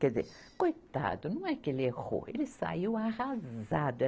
Quer dizer, coitado, não é que ele errou, ele saiu arrasado.